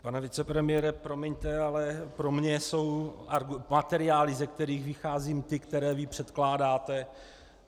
Pane vicepremiére, promiňte, ale pro mě jsou materiály, ze kterých vycházím, ty, které vy předkládáte.